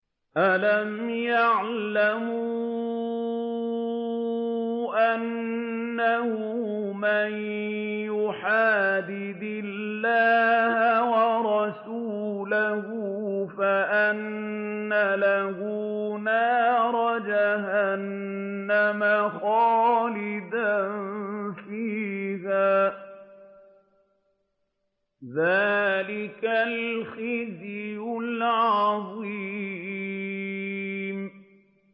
أَلَمْ يَعْلَمُوا أَنَّهُ مَن يُحَادِدِ اللَّهَ وَرَسُولَهُ فَأَنَّ لَهُ نَارَ جَهَنَّمَ خَالِدًا فِيهَا ۚ ذَٰلِكَ الْخِزْيُ الْعَظِيمُ